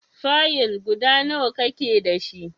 Fayil guda nawa ka ke dashi?